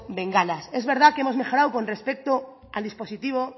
bengalas es verdad que hemos mejorado con respecto al dispositivo